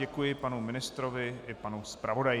Děkuji panu ministrovi i panu zpravodaji.